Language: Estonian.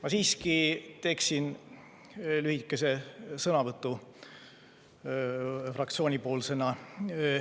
Ma siiski teen lühikese sõnavõtu fraktsiooni nimel.